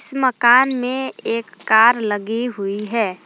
इस मकान में एक कार लगी हुई है।